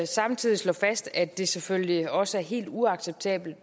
samtidig slå fast at det selvfølgelig også er helt uacceptabelt